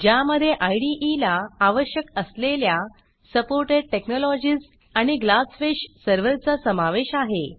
ज्यामधे इदे ला आवश्यक असलेल्या सपोर्टेड टेक्नॉलॉजीज आणि ग्लासफिश सर्व्हरचा समावेश आहे